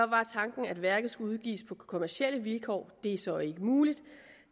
var tanken at værket skulle udgives på kommercielle vilkår det er så ikke muligt